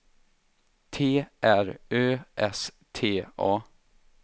T R Ö S T A